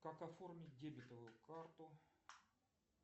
как оформить дебетовую карту